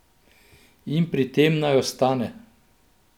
In pri tem naj ostane.